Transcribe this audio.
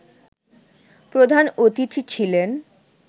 প্রধান অতিথি ছিলেন